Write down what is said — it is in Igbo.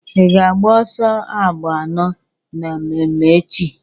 I ga-agba ọsọ agba anọ na mmemme echi?